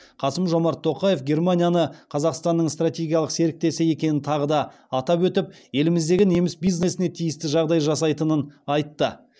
қасым жомарт тоқаев германияны қазақстанның стратегиялық серіктесі екенін тағы да атап өтіп еліміздегі неміс бизнесіне тиісті жағдай жасайтынын айтты